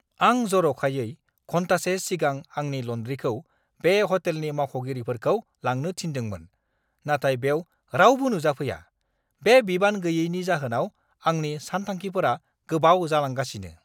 आं जर'खायै घन्टासे सिगां आंनि ल'न्ड्रीखौ बे ह'टेलनि मावख'गिरिफोरखौ लांनो थिन्दोंमोन, नाथाय बेव रावबो नुजाफैया। बे बिबान गैयैनि जाहोनाव आंनि सानथांखिफोरा गोबाव जालांगासिनो!